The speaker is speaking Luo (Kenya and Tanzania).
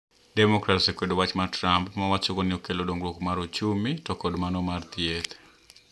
Demokrats osekwedo wach Trump ma owachogo ni okelo dongruok mar ochumi to gi mano mar weche thieth